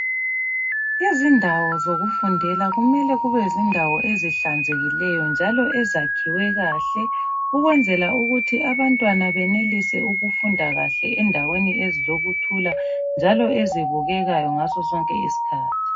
Izindawo zokufundela kumele kube izindawo ezihlanzekileyo njalo ezakhwe kahle ukwenzela ukuthi abantwana benelise ukufunda kahle endaweni ezilokuthula njalo ezibukekayo ngaso sonke isikhathi.